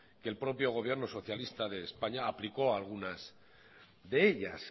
que el propio gobierno socialista de españa aplicó algunas de ellas